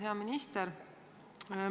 Hea minister!